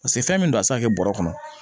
Paseke fɛn min don a tɛ se ka kɛ bɔrɛ kɔnɔ